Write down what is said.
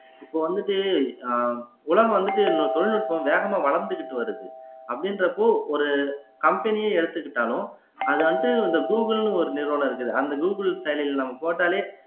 இப்ப வந்துட்டு அஹ் உலகம் வந்துட்டு இன்னொரு தொழில்நுட்பம் வேகமா வளர்ந்துகிட்டு வருது அப்படின்றப்போ ஒரு company யே எடுத்துக்கிட்டாலும் அது வந்துட்டு இந்த கூகுள்ன்னு ஒரு நிறுவனம் இருக்குது அந்த கூகுள் செயலில நம்ம போட்டாலே